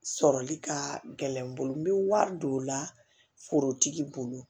Sɔrɔli ka gɛlɛn n bolo n bɛ wari don o la forotigi bolo